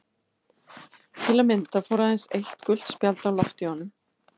Til að mynda fór aðeins eitt gult spjald á loft í honum.